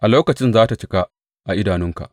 A lokacin za tă cika a idanunka.